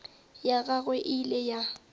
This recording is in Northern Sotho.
ya gagwe e ile ya